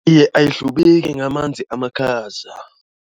Iye, ayihlubeki ngamanzi amakhaza.